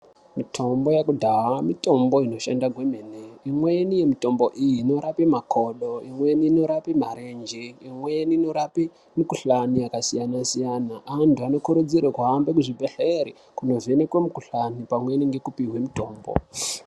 Mitombo yekudhaya mitombo inoshanda kwemene. Imweni yemitombo iyi inorape makodo, imweni inorape marenje, imweni inorape mikuhlani yakasiyana-siyana. Antu anokurudzirwa kuhambe kuzvibhehleri kunovhenekwe mukuhlani pamweni ngekupihwe mutombo.